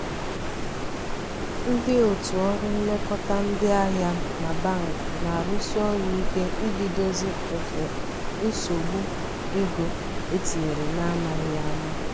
ndị otu ọrụ nlekọta ndị ahịa na bank na-arụsi ọrụ ike idozi nsogbu ego etinyere na amaghị ama.